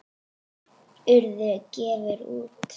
Urður gefur út.